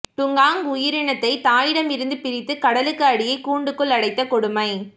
dugong உயிரினத்தை தாயிடமிருந்து பிரித்து கடலுக்கு அடியே கூண்டுக்குள் அடைத்த கொடுமை